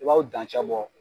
U b'aw dancɛbɔ